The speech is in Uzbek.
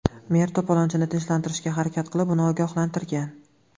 Mer to‘polonchini tinchlantirishga harakat qilib, uni ogohlantirgan.